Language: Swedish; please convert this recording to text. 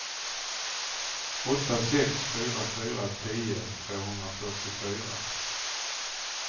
åtta sex fyra fyra tio tvåhundrafyrtiofyra